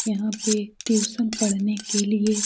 यहाँ पे ट्यूशन पढ़ने के लिए --